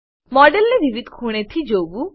મોડેલને વિવિધ ખૂણેથી જોવું